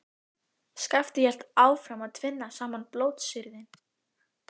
Skapti hélt áfram að tvinna saman blótsyrðin.